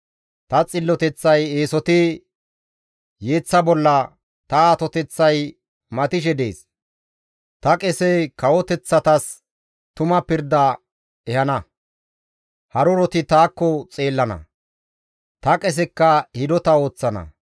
Ta xilloteththay eesoti yeeththa bolla, ta atoteththay matishe dees; ta qesey kawoteththatas tuma pirda ehana; haruroti taakko xeellana; ta qesekka hidota ooththana.